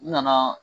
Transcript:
U nana